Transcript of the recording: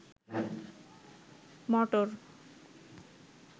মটর